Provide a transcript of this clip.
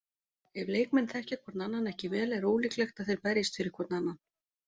Ef leikmenn þekkja hvorn annan ekki vel er ólíklegt að þeir berjist fyrir hvorn annan.